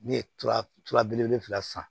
Ne ye tura belebele fila san